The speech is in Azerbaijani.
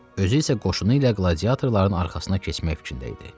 Özü isə qoşunu ilə qladiyatorların arxasına keçmək fikrində idi.